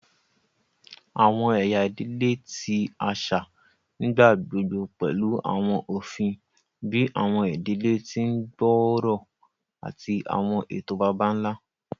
Awọn ẹya idile ti aṣa nigbagbogbo pẹlu awọn ofin bii awọn idile ti o gbooro ati awọn eto baba-nla.